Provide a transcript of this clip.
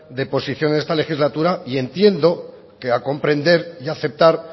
de posición esta legislatura y entiendo que ha comprender y aceptar